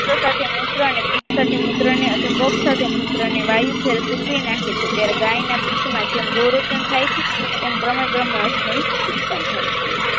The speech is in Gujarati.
સાથે મૂત્ર અને બીજ સાથે મૂત્ર ને અધહૂકોક સાથે મૂત્ર ને વાયુ થી એ સૂકવી નાખે છે ત્યારે ગાયના પિત્ત માંથી જેમ ગુરોચન થાય છે એમ ક્રમે ક્રમે અક્ષમયી ઉતત્પન્ન થાય છે